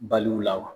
Baliw la wa